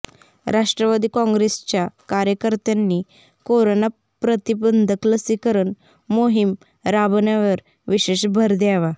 राष्ट्रवादी काँग्रेसच्या कार्यकर्त्यांनी कोरोना प्रतिबंधक लसीकरण मोहिम राबवण्यावर विशेष भर द्यावा